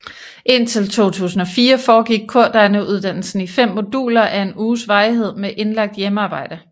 Indtil 2004 foregik kordegneuddannelsen i 5 moduler af en uges varighed med indlagt hjemmearbejde